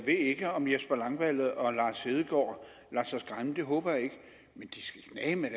ved ikke om jesper langballe og lars hedegaard lader sig skræmme det håber jeg ikke men de skal knageme